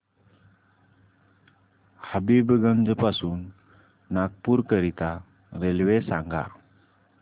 हबीबगंज पासून नागपूर करीता रेल्वे सांगा